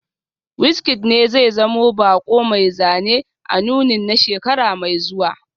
WizKid ne zai zama bako mai zane a nunin na shekara mai zuwa